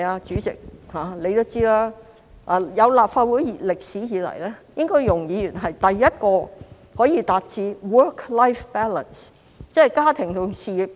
主席也知道，立法會成立多年以來，容議員應該是第一位可以達致 work-life balance 的議員。